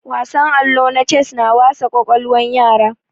Wasan allo na ces na wasa kwakwalwan yara